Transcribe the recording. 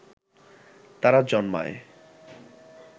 তারা জন্মায়